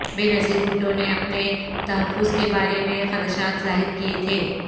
بے نظیر بھٹونے اپنے تحفظ کے بارے میں خدشات ظاہر کیے تھے